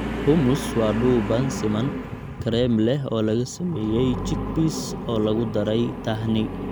Hummus waa dhuuban siman, kareem leh oo laga sameeyay chickpeas oo lagu daray tahini.